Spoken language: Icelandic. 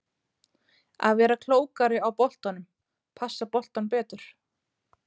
Að vera klókari á boltanum, passa boltann betur.